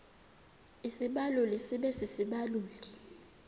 isibaluli sibe sisibaluli